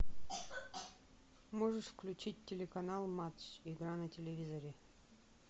можешь включить телеканал матч игра на телевизоре